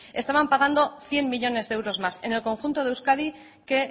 estaban pagando cien millónes de euros más en el conjunto de euskadi que